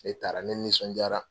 Ne taara ne nisɔnjaara.